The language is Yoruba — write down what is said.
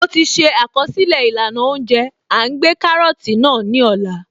Mo ti ṣe àkọsílẹ̀ ìlànà óúnjẹ À ń gbé kárọ́tì náà ní Ọlá